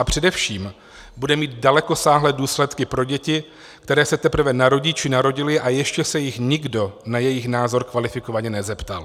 A především, bude mít dalekosáhlé důsledky pro děti, které se teprve narodí či narodily a ještě se jich nikdo na jejich názor kvalifikovaně nezeptal.